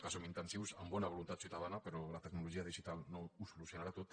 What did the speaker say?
que som intensius en bona voluntat ciutadana però la tecnologia digital no ho solucionarà tot